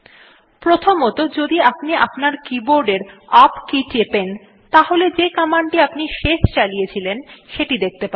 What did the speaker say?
প্রথমতঃ যদি আপনি আপনার কীবোর্ডের ইউপি কে টেপেন তাহলে যে কমান্ডটি আপনি শেষ চালিয়েছিলেন সেটি দেখতে পাবেন